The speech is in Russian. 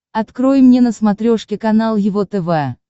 открой мне на смотрешке канал его тв